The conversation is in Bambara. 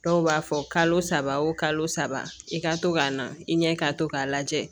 Dɔw b'a fɔ kalo saba o kalo saba i ka to ka na i ɲɛ ka to k'a lajɛ